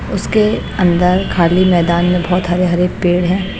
उसके अंदर खाली मैदान में बहोत हरे हरे पेड़ है।